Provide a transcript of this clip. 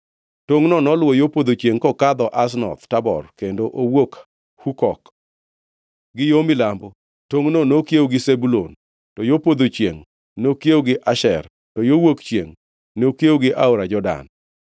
Tongʼno noluwo yo podho chiengʼ kokadho Aznoth Tabor kendo owuok Hukok. Gi yo milambo tongʼno nokiewo gi Zebulun, to yo podho chiengʼ nokiewo gi Asher; to yo wuok chiengʼ nokiewo gi aora Jordan.